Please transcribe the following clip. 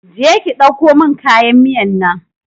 Je ki ki ɗauko mun kayan miyan nan!